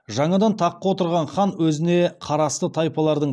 жаңадан таққа отырған хан өзіне қарасты тайпалардың